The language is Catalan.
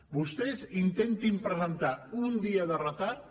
vostès intentin presentar amb un dia de retard